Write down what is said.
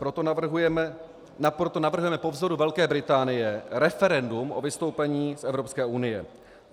Proto navrhujeme po vzoru Velké Británie referendum o vystoupení z Evropské unie.